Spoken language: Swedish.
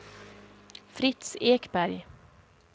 Fritz Ekberg